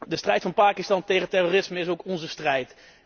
De strijd van Pakistan tegen terrorisme is ook onze strijd.